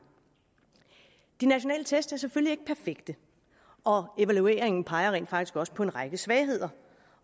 de nationale test er selvfølgelig ikke perfekte og evalueringen peger rent faktisk også på en række svagheder